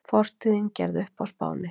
Fortíðin gerð upp á Spáni